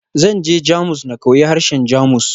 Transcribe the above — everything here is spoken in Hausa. Zan je Jamus na koyi harshen Jamus.